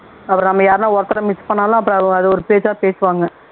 அப்புறம் நாம யாரையும் ஒருத்தரை miss பண்ணுனாலும் அப்புறம் அதை ஒரு பேச்சா பேசுவாங்க